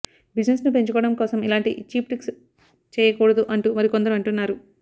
బిజినెస్ను పెంచుకోవడం కోసం ఇలాంటి చీప్ ట్రిక్స్ చేయకూడదు అంటూ మరికొందరు అంటున్నారు